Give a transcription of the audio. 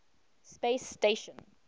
space station